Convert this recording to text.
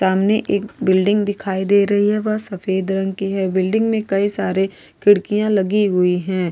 सामने एक बिल्डिंग दिखाई दे रही है वह सफेद रंग की है बिल्डिंग में कई सारे खिड़कियां लगी हुई हैं।